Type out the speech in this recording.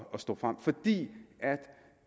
at stå frem fordi